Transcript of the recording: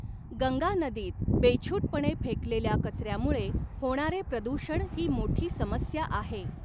गंगा नदीत बेछूटपणे फेकलेल्या कचऱ्यामुळे होणारे प्रदूषण ही मोठी समस्या आहे.